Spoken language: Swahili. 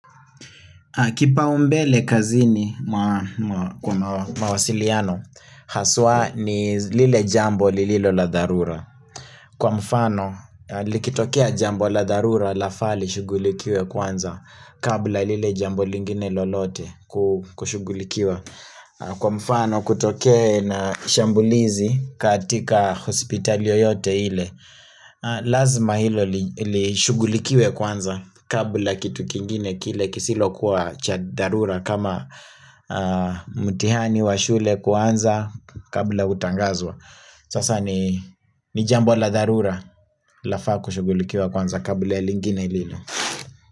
Kipa umbele kazini mawasiliano, haswa ni lile jambo lililo la dharura. Kwa mfano, likitokea jambo la dharura lafaa li shugulikiwe kwanza kabla lile jambo lingine lolote kushugulikiwa. Kwa mfano kutoke na shambulizi katika hospitali yoyote ile Lazima hilo li shugulikiwe kwanza Kabla kitu kingine kile kisilo kuwa cha dharura kama mtihani wa shule kwanza kabla utangazwa Sasa ni jambola dharura lafaa kushughulikiwa kwanza kabla ilingine lile.